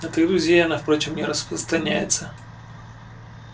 на твоих друзей она впрочем не распространяется